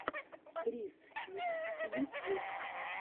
криз фикс ютьюб